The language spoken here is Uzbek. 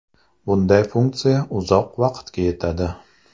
Bunday funksiya uzoq vaqtga yetadi.